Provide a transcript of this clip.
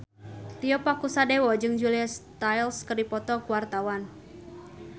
Tio Pakusadewo jeung Julia Stiles keur dipoto ku wartawan